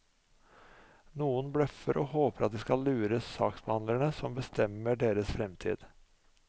Noen bløffer og håper at de skal lure saksbehandlerne som bestemmer deres fremtid.